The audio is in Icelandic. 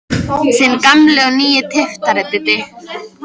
Þinn gamli og nýi tyftari, Diddi.